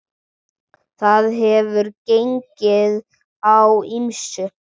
Þar hefur gengið á ýmsu.